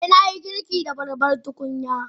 Eh, na yi girki da babbar tukunya.